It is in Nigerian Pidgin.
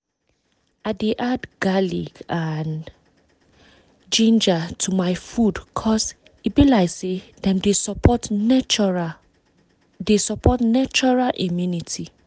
i dey add garlic and ginger to my food cause e be like say dem dey support natural dey support natural immunity